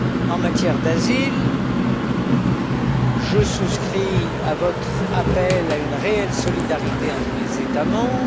En matière d'asile, je souscris à votre appel à une réelle solidarité entre les États membres.